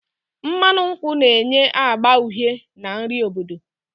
Mmanụ nkwụ na-enye agba uhie na nri obodo